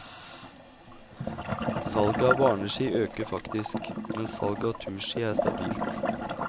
Salget av barneski øker faktisk, mens salg av turski er stabilt.